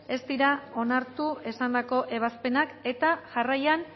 ez dira onartu esandako ebazpenak eta jarraian